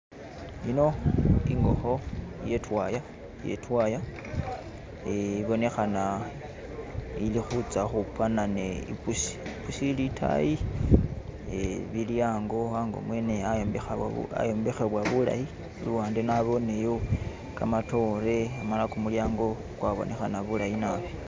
Yino ingokho iye twaaya, iye twaaya ibonekhana ili khutsa ukhupana ne ipusi, ipusi ili itayi, eh bili ango, ango mwene ayombekhe ayombekhebwa bulayi iluwande naboneyo kamatoore amala kumulyango kwabonekhana bulayi naabi